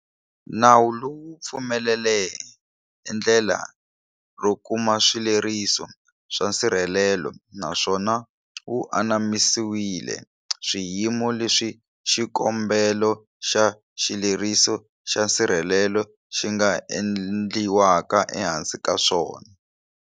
Nawu lowu wu pfumelele endlela ro kuma swileriso swa nsirhelelo, na swona wu anamisile swiyimo leswi xikombelo xa xileriso xa nsirhelelo xi nga endliwaka ehansi ka swona.